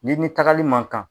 Ni ni tagali man kan